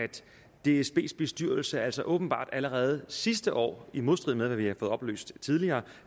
dsbs bestyrelse altså åbenbart allerede sidste år i modstrid med hvad vi har fået oplyst tidligere